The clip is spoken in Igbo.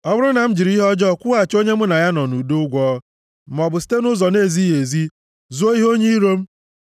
Ọ bụrụ na m jiri ihe ọjọọ kwụghachi onye mụ na ya nọ nʼudo ụgwọ, maọbụ site nʼụzọ na-ezighị ezi zuo ihe onye iro m.